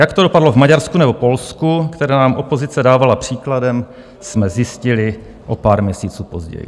Jak to dopadlo v Maďarsku nebo Polsku, které nám opozice dávala příkladem, jsme zjistili o pár měsíců později.